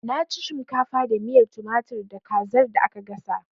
Na ci shimkafa da miyar tumatir da kazar da aka gasa